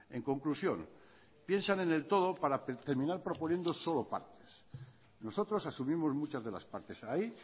en conclusión piensan en el todo para terminal proponiendo solo partes nosotros asumimos muchas de las partes ahí